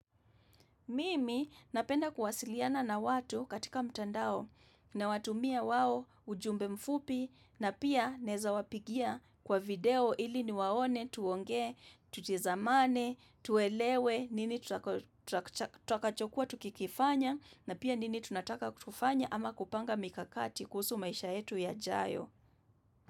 Mimi napenda kuwasiliana na watu katika mtandao nawatumia wao ujumbe mfupi na pia naweza wapigia kwa video ili niwaone tuonge, tutizamane, tuelewe nini tutakachokuwa tukikifanya na pia nini tunataka kufanya ama kupanga mikakati kuhusu maisha yetu yajayo.